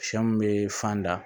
Sɛ mun bee fan da